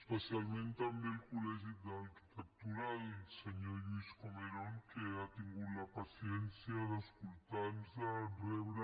especialment també al col·legi d’arquitectura al senyor lluís comerón que ha tingut la paciència d’escoltar nos rebre